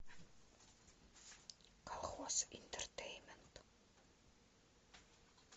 колхоз интертейнмент